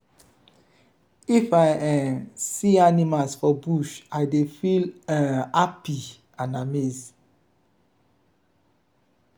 if i um see animals for bush i dey feel um hapi and amazed.